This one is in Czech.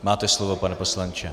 Máte slovo, pane poslanče.